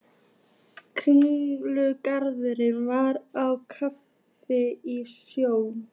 Kirkjugarðurinn var á kafi í snjó.